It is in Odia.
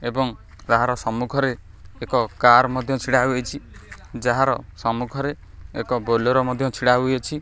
ଏବଂ କାହାର ସମ୍ମୁଖରେ ଏକ କାର ମଧ୍ୟ ଛିଡ଼ାହୋଇ ଅଛି ଯାହାର ସମ୍ମୁଖରେ ଏକ ବୋଲୋର୍ ମଧ୍ୟ ଛିଡ଼ାହୋଇ ଅଛି।